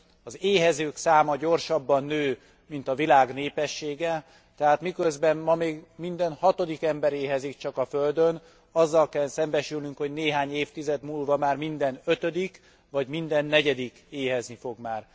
Az éhezők száma gyorsabban nő, mint a világ népessége, tehát miközben ma még minden hatodik ember éhezik csak a Földön, azzal kell szembesülnünk, hogy néhány évtized múlva már minden ötödik, vagy minden negyedik éhezni fog már.